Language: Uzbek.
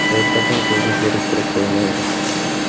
Hech qachon sizni zeriktirib qo‘ymaydi.